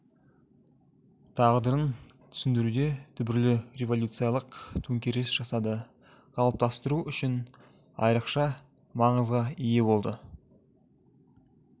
тағдырын түсіндіруде түбірлі революциялық төңкеріс жасады қалыптастыру үшін айрықша маңызға ие болды